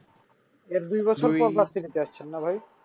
এর দুই বছর না ভাই